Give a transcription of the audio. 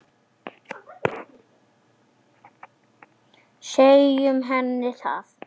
Segjum henni það.